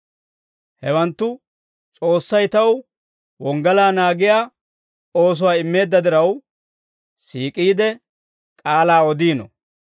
Hawanttu S'oossay taw wonggalaa naagiyaa oosuwaa immeedda diraw, siik'iide k'aalaa odiino.